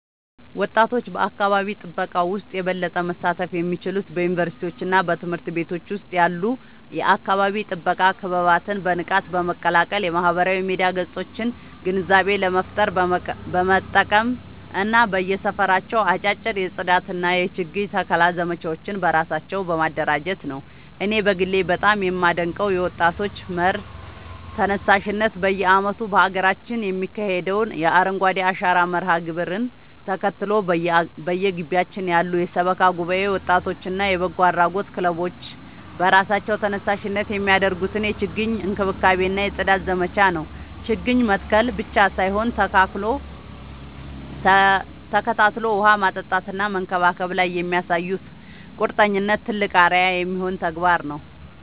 ወጣቶች በአካባቢ ጥበቃ ውስጥ የበለጠ መሳተፍ የሚችሉት በዩኒቨርሲቲዎችና በትምህርት ቤቶች ውስጥ ያሉ የአካባቢ ጥበቃ ክበባትን በንቃት በመቀላቀል፣ የማህበራዊ ሚዲያ ገጾቻቸውን ግንዛቤ ለመፍጠር በመጠቀም እና በየሰፈራቸው አጫጭር የጽዳትና የችግኝ ተከላ ዘመቻዎችን በራሳቸው በማደራጀት ነው። እኔ በግሌ በጣም የማደንቀው የወጣቶች መር ተነሳሽነት በየዓመቱ በሀገራችን የሚካሄደውን የአረንጓዴ አሻራ መርሃ ግብርን ተከትሎ፣ በየግቢያችን ያሉ የሰበካ ጉባኤ ወጣቶችና የበጎ አድራጎት ክለቦች በራሳቸው ተነሳሽነት የሚያደርጉትን የችግኝ እንክብካቤና የጽዳት ዘመቻ ነው። ችግኝ መትከል ብቻ ሳይሆን ተከታትሎ ውሃ ማጠጣትና መንከባከብ ላይ የሚያሳዩት ቁርጠኝነት ትልቅ አርአያ የሚሆን ተግባር ነው።